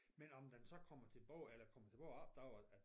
Men om den så kommer tilbage eller kommer tilbage det ved jeg ikke